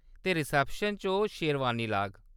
ते रिसेप्शन च ओह्‌‌ शेरवानी लाग ।